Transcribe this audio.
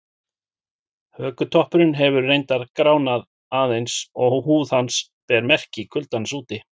Hökutoppurinn hefur reyndar gránað aðeins og húð hans ber merki kuldans úti.